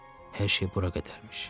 Hər şey bura qədərmiş.